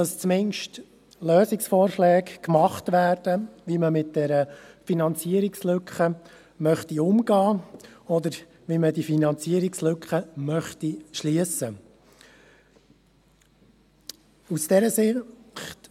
Zumindest werden Lösungsvorschläge gemacht, wie man mit dieser Finanzierungslücke umgehen oder wie man diese Finanzierungslücke schliessen möchte.